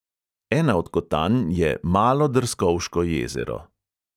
Ena od kotanj je malo drskovško jezero.